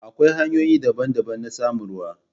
Akwai hanyoyi daban-daban na samun ruwa.